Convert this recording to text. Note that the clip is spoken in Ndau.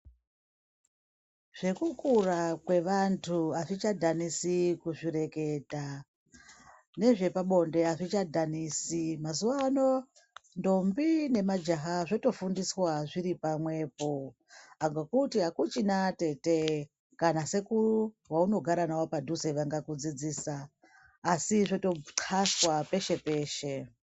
Zvekukura kwevanthu azvichadhanisi kuzvireketa nezvepabonde azvichadhanisi mazuwaano ndombi nemajaha zvotofundiswa zviri pamwepo ngekuti akuchina atete kana sekuru vaunogara navo padhuze vangakudzidzisa asi zvotokxaswa peshepeshe.